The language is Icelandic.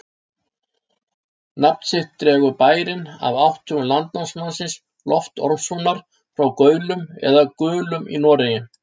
Nafn sitt dregur bærinn af átthögum landnámsmannsins Lofts Ormssonar frá Gaulum eða Gulum í Noregi.